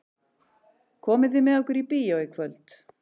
Komið þið með okkur í bíó í kvöld?